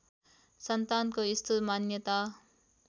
सन्तानको यस्तो मान्यता